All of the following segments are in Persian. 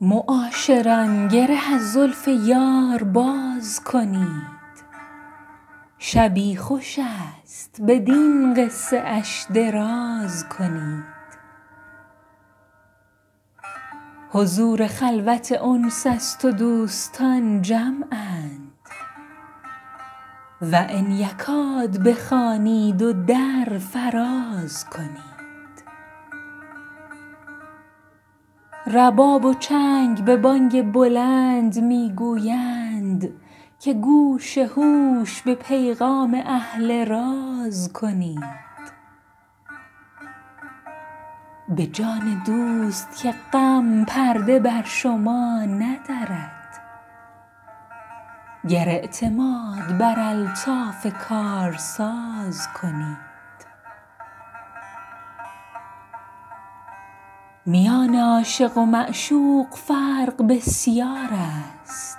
معاشران گره از زلف یار باز کنید شبی خوش است بدین قصه اش دراز کنید حضور خلوت انس است و دوستان جمعند و ان یکاد بخوانید و در فراز کنید رباب و چنگ به بانگ بلند می گویند که گوش هوش به پیغام اهل راز کنید به جان دوست که غم پرده بر شما ندرد گر اعتماد بر الطاف کارساز کنید میان عاشق و معشوق فرق بسیار است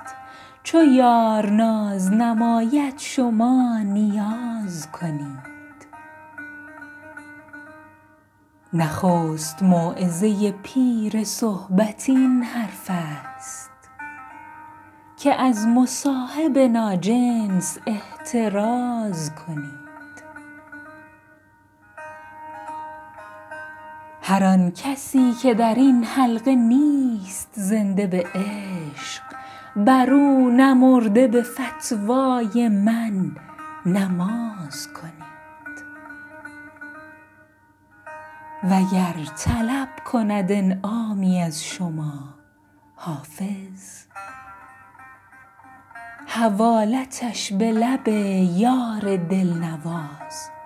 چو یار ناز نماید شما نیاز کنید نخست موعظه پیر صحبت این حرف است که از مصاحب ناجنس احتراز کنید هر آن کسی که در این حلقه نیست زنده به عشق بر او نمرده به فتوای من نماز کنید وگر طلب کند انعامی از شما حافظ حوالتش به لب یار دل نواز کنید